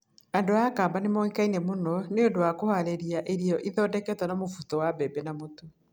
Andũ a Kamba nĩ moĩkaine mũno nĩ ũndũ wa kũhaarĩria isyo, irio ciathondeketwo na mũbuto wa mbembe na mũtu.